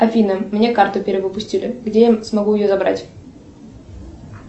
афина мне карту перевыпустили где я могу ее забрать